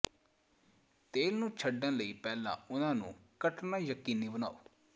ਤੇਲ ਨੂੰ ਛੱਡਣ ਲਈ ਪਹਿਲਾਂ ਉਹਨਾਂ ਨੂੰ ਕੱਟਣਾ ਯਕੀਨੀ ਬਣਾਓ